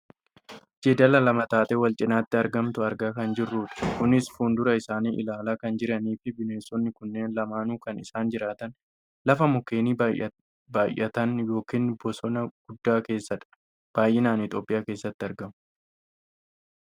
jeedala lama taatee wal cinaatti argamtu argaa kan jirrudha. kunis fuuldura isaanii ilaalaa kan jirraniifi bineensonni kunneen lamaanuu kan isaan jiraataan lafa mukeen baayyatan yookaan bosona guddaa keessadha. baayyinaan itoopiyaa keessatti argamu.